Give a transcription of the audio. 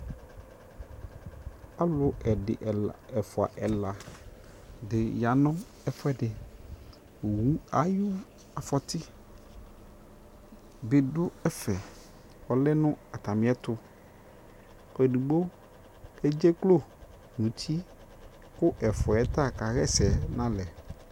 alʊ , ɛdɩ , ɛfua, ɛla dɩ ya nʊ ɛfuɛdɩ, owu ayʊ afɔti, bɩ lɛ nʊ ɛfɛ, nʊ atamiɛtʊ, edigbo amă adukʊ nʊ uti, kʊ ɛfuawa ta kaɣa ɛsɛ nalɛ